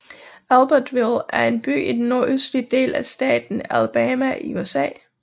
Albertville er en by i den nordøstlige del af staten Alabama i USA